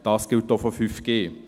Dies gilt auch für 5G.